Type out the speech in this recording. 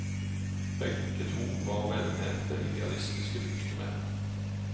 Begge to var velmente, idealistiske lyktemenn.